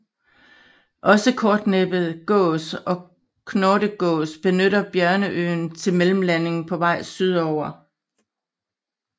Også kortnæbbet gås og knortegås benytter Bjørneøen til mellemlanding på vej sydover